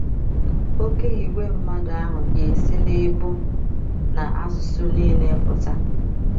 Oké ìgwè mmadụ ahụ ga - esi n’ebo na asụsụ nile pụta